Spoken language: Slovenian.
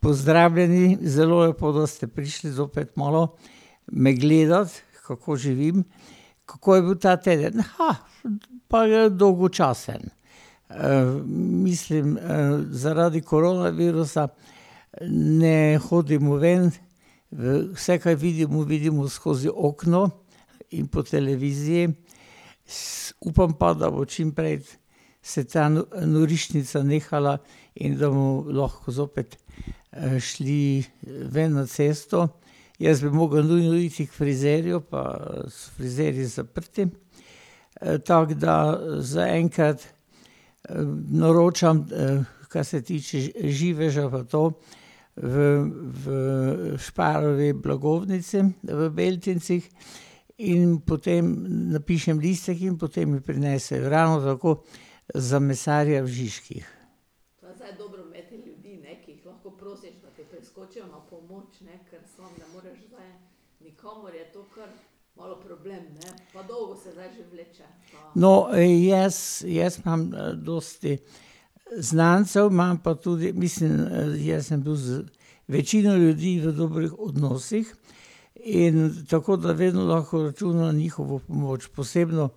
Pozdravljeni, zelo lepo, da ste prišli zopet malo, me gledat, kako živim. Kako je bil ta teden? pa le dolgočasen. mislim, zaradi koronavirusa ne hodimo ven, vse, kaj vidimo, vidimo skozi okno in po televiziji, upam pa, da bo čimprej se ta norišnica nehala in da bomo lahko zopet, šli ven na cesto. Jaz bi mogel nujno iti k frizerju, pa so frizerji zaprti. tako da, zaenkrat, naročam kar se tiče živeža pa to, v, v Sparovi blagovnici v Beltincih. In potem napišem listek in potem mi prinesejo, ravno tako za mesarja v Žižkih. No, jaz, jaz imam dosti znancev, imam pa tudi, mislim, jaz sem bil z večino ljudi v dobrih odnosih, in tako da vedno lahko računam na njihovo pomoč, posebno